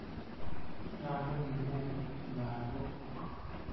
Nyalu kenet lagok.